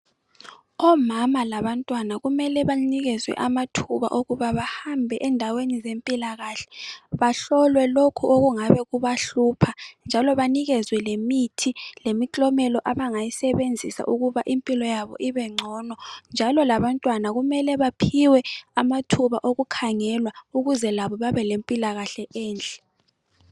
Omama labantwana kumele banikezwe amathuba okubana bahambe endaweni zempilakahle. Bahlolwe lokhu okungabe kubahlupha njalo banikezwe lemithi lemiklomela abangayisebenzisa ukuba impilo yabo ibengcono njalo labantwana kumele baphiwe amathuba okukhangelwa ukuze labo babe lempila kahle enhle.